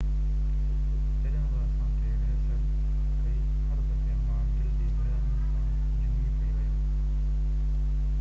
”جڏهن بہ اسان تي ريهرسل ڪئي، هر دفعي مان دل جي گهرائين سان جهومي پئي ويم..